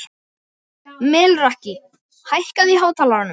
Melrakki, hækkaðu í hátalaranum.